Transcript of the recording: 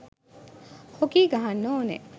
Hockey ගහන්න ඕනෙ.